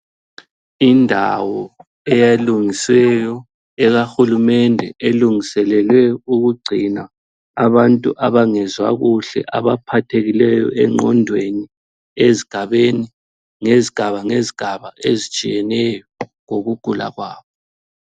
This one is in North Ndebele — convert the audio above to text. Indawo elungisiweyo ekaHulumende, elungiselelwe ukugcina abantu abangezwa kuhle, abaphathekileyo engqondweni ezigabeni, ngezigaba ngezigaba ezitshiyeneyo ngokugula kwabo.